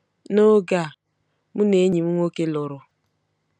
N'oge a, mụ na enyi m nwoke lụrụ.